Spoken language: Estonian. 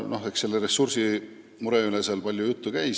Sellest ressursimurest oli palju juttu.